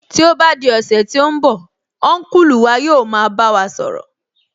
Tí ó bá di ọ̀sẹ̀ tí ó ń bọ̀, Ọ́nkùlù wa yóò máa bá wa sọ̀rọ̀